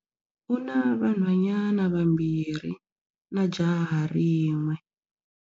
U na vanhwanyana vambirhi na jaha rin'we.